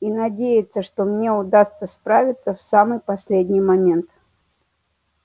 и надеяться что мне удастся справиться в самый последний момент